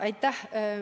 Aitäh!